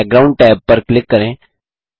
background tab पर click करें